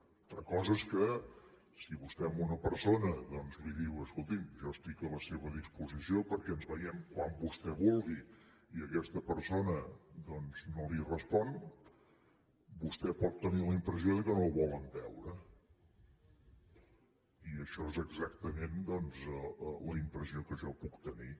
una altra cosa és que si vostè a una persona li diu escolti’m jo estic a la seva disposició perquè ens vegem quan vostè vulgui i aquesta persona doncs no li respon vostè pot tenir la impressió que no el volen veure i això és exactament la impressió que jo puc tenir